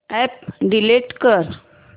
app delete कर